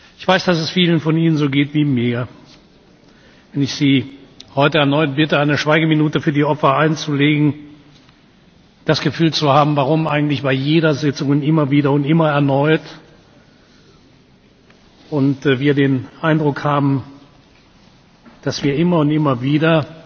Ich weiß, dass es vielen von Ihnen so geht wie mir, wenn ich Sie heute erneut bitte, eine Schweigeminute für die Opfer einzulegen, dass wir uns fragen, warum wir eigentlich bei jeder Sitzung und immer wieder und immer erneut den Eindruck haben, dass wir immer und immer